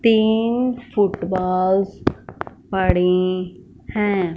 तीन फुटबॉल्स पड़े है।